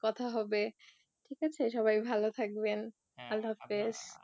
কথা হবে ঠিক আছে সবাই ভালো থাকবেন, আল্লা হাফিস